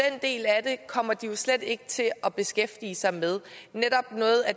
kommer de slet ikke til at beskæftige sig med